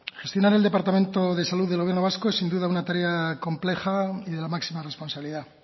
gestionar el departamento de salud del gobierno es sin duda una tarea compleja y de la máxima responsabilidad